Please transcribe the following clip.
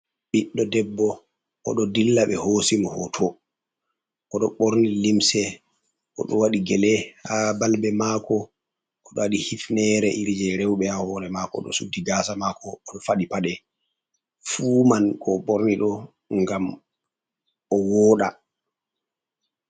Ɓiɗɗo debbo, oɗo dilla ɓe hoosi mo hooto. Oɗo ɓorni limse, oɗo waɗi gele ha balbe maako, oɗo waɗi hifneere iri jee rowɓe, ha hoore maako, oɗo suddi gaasa maako, oɗo fali paɗe, fuu man ko o ɓorni ɗo, gam o wooɗa.